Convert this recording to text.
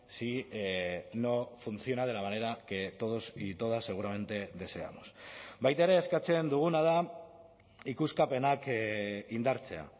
si no funciona de la manera que todos y todas seguramente deseamos baita ere eskatzen duguna da ikuskapenak indartzea